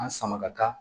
An sama ka taa